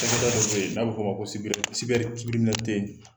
Cakɛda dɔ be yen n'a bi fɔ o ma ko